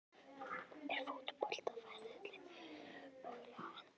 Er fótboltaferillinn mögulega á enda?